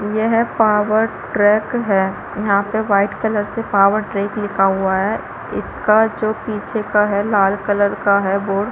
यह power track है यहाँ पे वाइट कलर से पावर ट्रैक लिखा हुआ है इसका जो पीछे का है लाल कलर का है बोर्ड --